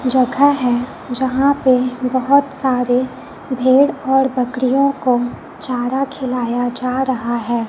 जघा है जहां पे बहोत सारे भेड़ और बकरियो को चारा खिलाया जा रहा है।